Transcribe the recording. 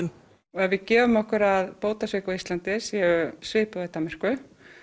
og ef við gefum okkur að bótasvik á Íslandi séu svipuð og í Danmörku